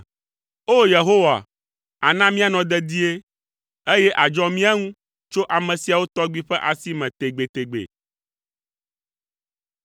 O! Yehowa, àna míanɔ dedie, eye àdzɔ mía ŋu tso ame siawo tɔgbi ƒe asi me tegbetegbe.